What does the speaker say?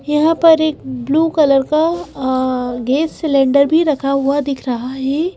यहाँ पर एक ब्लू कलर का गैस सिलेंडर भी रखा हुआ दिख रहा है।